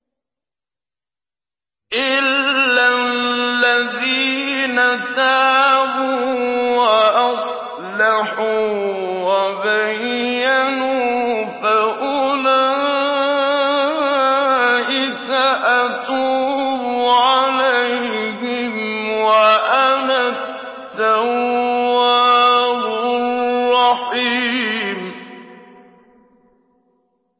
إِلَّا الَّذِينَ تَابُوا وَأَصْلَحُوا وَبَيَّنُوا فَأُولَٰئِكَ أَتُوبُ عَلَيْهِمْ ۚ وَأَنَا التَّوَّابُ الرَّحِيمُ